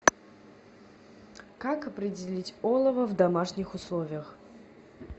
как определить олово в домашних условиях